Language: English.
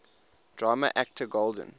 drama actor golden